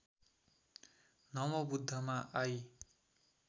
नमोबुद्धमा I